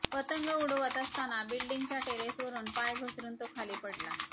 पतंग उडवत असताना बिल्डींगच्या टेरेसवरुन पाय घसरुन तो खाली पडला